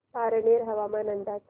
पारनेर हवामान अंदाज